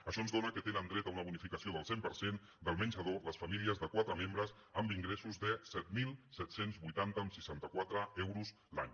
això ens dóna que tenen dret a una bonificació del cent per cent del menjador les famílies de quatre membres amb ingressos de set mil set cents i vuitanta coma seixanta quatre euros l’any